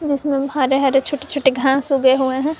इसमें हरे हरे छोट छोटे घास उगे हुए हैं।